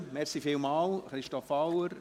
Vielen Dank an Christoph Auer.